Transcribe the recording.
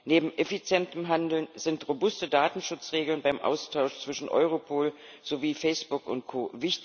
Neben effizientem Handeln sind robuste Datenschutzregeln beim Austausch zwischen Europol sowie Facebook und Co.